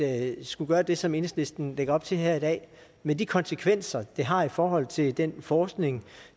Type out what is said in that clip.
at skulle gøre det som enhedslisten lægger op til her i dag med de konsekvenser det har i forhold til den forskning